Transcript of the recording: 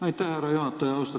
Aitäh, härra juhataja!